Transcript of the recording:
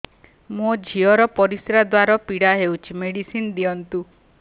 ମୋ ଝିଅ ର ପରିସ୍ରା ଦ୍ଵାର ପୀଡା ହଉଚି ମେଡିସିନ ଦିଅନ୍ତୁ